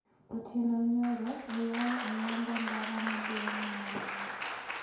Otieno nyoro oyao ayanga ndara maduong` ma Namanga